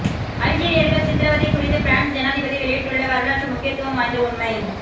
அல்ஜீரியர்கள் சித்திரவதை குறித்து பிரான்ஸ் ஜனாதிபதி வெளியிட்டுள்ள வரலாற்று முக்கியத்துவம் வாய்ந்த உண்மை